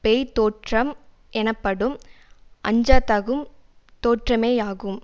பேய்த் தோற்றம் எனப்படும் அஞ்சதகும் தோற்றமேயாகும்